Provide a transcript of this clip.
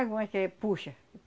Algumas que puxa.